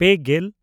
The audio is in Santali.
ᱯᱮᱼᱜᱮᱞ